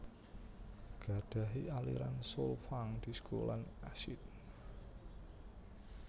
Gadhahi aliran soul funk disco lan acid